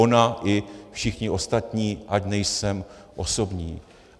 Ona i všichni ostatní, ať nejsem osobní.